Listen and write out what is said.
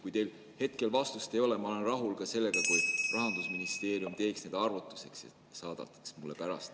Kui teil hetkel vastust ei ole, siis ma olen rahul ka sellega, kui Rahandusministeerium teeks need arvutused ja saadaks mulle pärast.